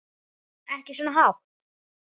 Ekki svona hátt.